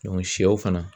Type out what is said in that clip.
sɛw fana